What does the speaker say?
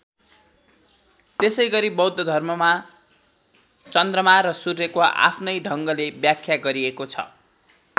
त्यसै गरी बौद्ध धर्ममा चन्द्रमा र सूर्यको आफ्नै ढङ्गले व्याख्या गरिएको छ।